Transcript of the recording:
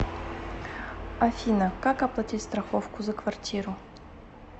афина как оплатить страховку за квартиру